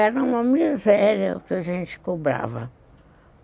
Era uma miséria o que a gente cobrava.